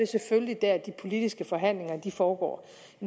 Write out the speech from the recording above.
selvfølgelig der de politiske forhandlinger foregår